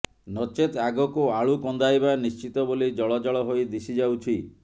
ନଚେତ୍ ଆଗକୁ ଆଳୁ କନ୍ଦାଇବା ନିଶ୍ଚିତ ବୋଲି ଜଳଜଳ ହୋଇ ଦିଶିଯାଉଛି